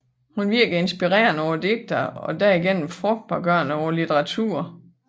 Hun virkede inspirerende på digterne og derigennem frugtbargørende på litteraturen